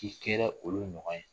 K'i kɛra olu ɲɔgɔn ye